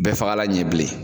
Bɛɛfagala ɲɛ bilen